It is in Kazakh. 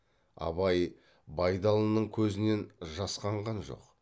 абай байдалының көзінен жасқанған жоқ